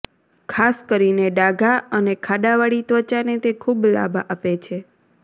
ખાસ કરીને ડાઘા અને ખાડાવાળી ત્વચાને તે ખૂબ લાભ આપે છે